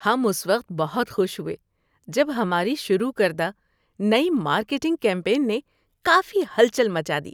ہم اس وقت بہت خوش ہوئے جب ہماری شروع کردہ نئی مارکیٹنگ کمپین نے کافی ہلچل مچا دی۔